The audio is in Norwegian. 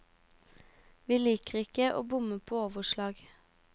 Vi liker ikke å bomme på overslag.